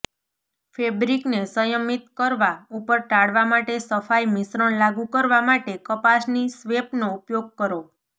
ફેબ્રિકને સંયમિત કરવા ઉપર ટાળવા માટે સફાઈ મિશ્રણ લાગુ કરવા માટે કપાસની સ્વેપનો ઉપયોગ કરો